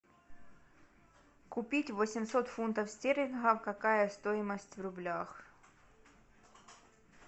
купить восемьсот фунтов стерлингов какая стоимость в рублях